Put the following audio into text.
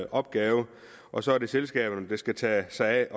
opgave og så er det selskaberne der skal tage sig